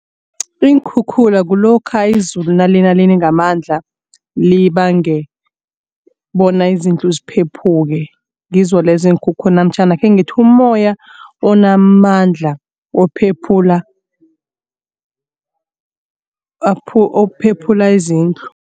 Iinkhukhula kulokha izulu nalina line ngamandla libange bona izindlu ziphephuke. Ngizo lezo iinkhukhula namtjhana akhengithi ummoya onamandla ophephula ophephula izindlu.